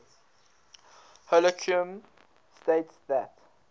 holcombe states that